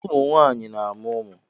Ụmụ nwaanyị na-amụ ụmụ.